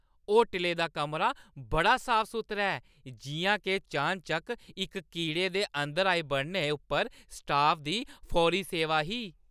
होटलै दा कमरा बड़ा साफ-सुथरा ऐ, जिʼयां के चान-चक्क इक कीड़े अंदर आई बड़ने उप्पर स्टाफ दी फौरी सेवा ही ।